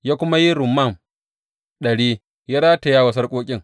Ya kuma yi rumman ɗari ya rataya wa sarƙoƙin.